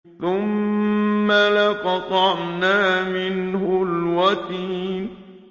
ثُمَّ لَقَطَعْنَا مِنْهُ الْوَتِينَ